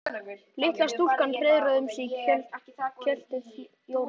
Litla stúlkan hreiðraði um sig í kjöltu Jóru.